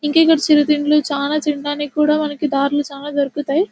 ఇంకా ఇక్కడ చిరుతిండ్లు చానా తినడానికి కూడా మనకు దారులు చానా దొరుకుతాయి.